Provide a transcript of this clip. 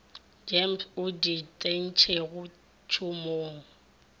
gems e di tsentšego tšhomong